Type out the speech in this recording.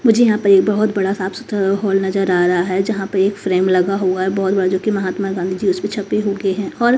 मुझे यहां पे एक बहोत बड़ा साफ सुथरा हॉल नजर आ रहा है जहां पे एक फ्रेम लगा हुआ है बहोत बड़ा जो कि महात्मा गांधी जी उसपे छपे हुके हैं और--